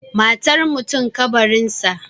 Matar mutum, ƙabarinsa